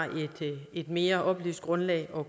et mere oplyst grundlag at